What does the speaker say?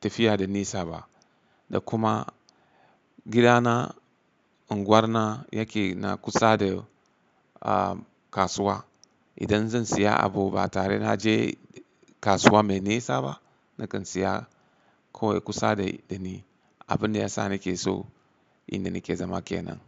tafiya da nisa ba da kuma gidana unguwar na yake na kusa da, ah, kasuwa. Idan zan siya abu ba tare na je kasuwa mai nisa ba. Nakan siya ko kusa da ni. Abin da ya sa nake so inda nake zama kenan.